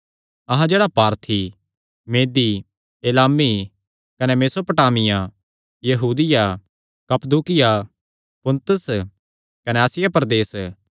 अहां जेह्ड़ा पारथी मेदीएलामी कने मेसोपोटामिया यहूदिया कप्पदूकिया पुन्तुस कने आसिया प्रदेस